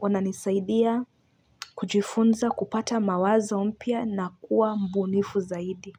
wananisaidia kujifunza kupata mawazo mpya na kuwa mbunifu zaidi.